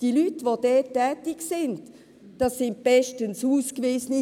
Die Leute, die dort tätig sind, sind bestens ausgewiesen;